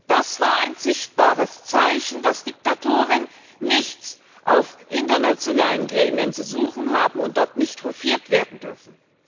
Das war ein sichtbares Zeichen, dass Diktatoren nichts in internationalen Gremien zu suchen haben und dort nicht hofiert werden dürfen.